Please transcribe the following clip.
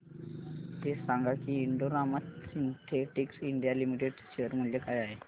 हे सांगा की Indo Rama Synthetics India Limited चे शेअर मूल्य काय आहे